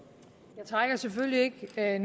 da